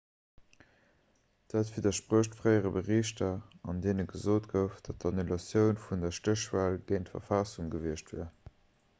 dat widdersprécht fréiere berichter an deene gesot gouf datt d'annulatioun vun der stéchwal géint d'verfassung gewiescht wier